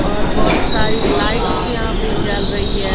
और बहोत सारी लाइट्स यहां पे जल रही है।